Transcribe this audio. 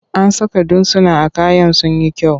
An saka dutsuna a kayan sun yi kyau.